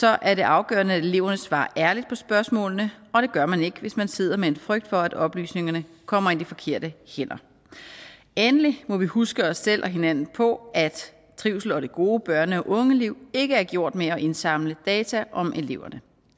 er det afgørende at eleverne svarer ærligt på spørgsmålene og det gør man ikke hvis man sidder med en frygt for at oplysningerne kommer i de forkerte hænder endelig må vi huske os selv og hinanden på at trivsel og det gode børne og ungeliv ikke er gjort med at indsamle data om eleverne